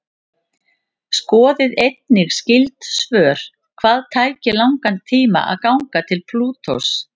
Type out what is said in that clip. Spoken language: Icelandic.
Skoðið einnig skyld svör: Hvað tæki langan tíma að ganga til Plútós?